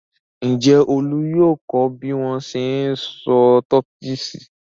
Ǹjẹ́ Olú yóò kọ́ bí wọ́n ṣe ń sọ Turkish?